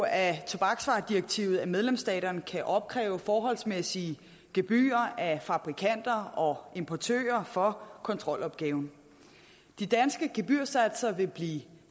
af tobaksvaredirektivet at medlemsstaterne kan opkræve forholdsmæssige gebyrer af fabrikanter og importører for kontrolopgaven de danske gebyrsatser vil blive